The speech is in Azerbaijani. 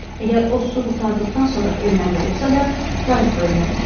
Əgər o su qurtardıqdan sonra ölməli olsa da, qayıqda ölməlidir.